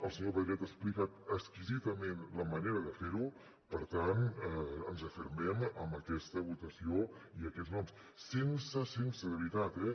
el senyor pedret ha explicat exquisidament la manera de fer ho per tant ens refermem amb aquesta votació i aquests noms sense sense de veritat eh